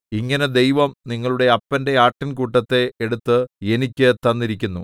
ഇങ്ങനെ ദൈവം നിങ്ങളുടെ അപ്പന്റെ ആട്ടിൻകൂട്ടത്തെ എടുത്ത് എനിക്ക് തന്നിരിക്കുന്നു